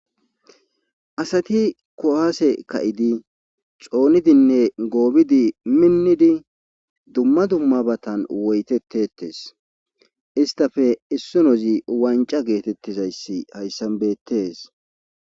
Asati kohase ka'idi coonidinne goobidi minnidi dumma dummabatan woytettettes istafe issu nozi wanca geetettizayssi hayssan beettes.